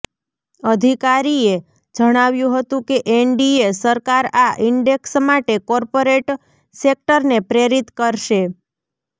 અધિકારીએ જણાવ્યું હતું કે એનડીએ સરકાર આ ઇન્ડેક્સ માટે કોર્પોરેટ સેક્ટરને પ્રેરિત કરશે